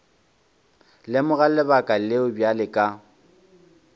lemoga lebaka leo bjale ka